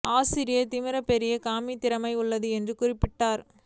ஆசிரியர்கள் திமா பெரிய காமிக் திறமை உள்ளது என்று குறிப்பிட்டார்